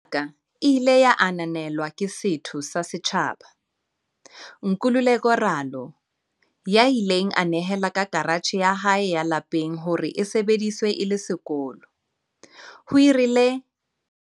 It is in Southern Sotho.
"Pono ya ka e ile ya ananelwa ke setho sa setjhaba, Nkululeko Ralo, ya ileng a nehela ka karatjhe ya hae ya lapeng hore e sebediswe e le sekolo," ho rialo Gilman.